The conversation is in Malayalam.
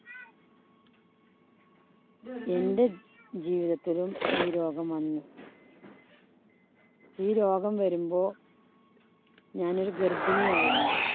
എന്‍റെ ജീവിതത്തിലും ഈ രോഗം വന്നു ഈ രോഗം വരുമ്പോ ഞാനൊരു ഗര്‍ഭിണിയായിരുന്നു.